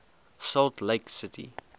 salt lake city